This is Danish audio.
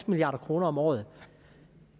milliard kroner om året